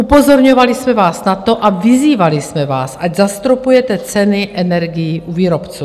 Upozorňovali jsme vás na to a vyzývali jsme vás, ať zastropujete ceny energií u výrobců.